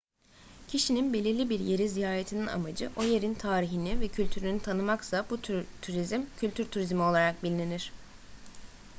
kişinin belirli bir yeri ziyaretinin amacı o yerin tarihini ve kültürünü tanımaksa bu tür turizm kültür turizmi olarak bilinir